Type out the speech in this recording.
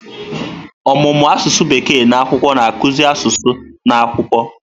Ọmụmụ asụsụ Bekee na akwụkwọ na-akụzi asụsụ na akwụkwọ.